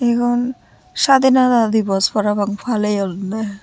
egun sadinata divas parapang palayounne.